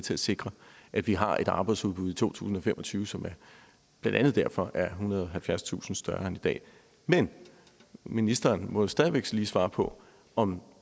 til at sikre at vi har et arbejdsudbud i to tusind og fem og tyve som blandt andet derfor er ethundrede og halvfjerdstusind større end i dag men ministeren må stadig lige svare på om